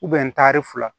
taari fila